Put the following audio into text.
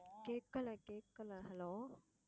கேக்கல கேக்கல hello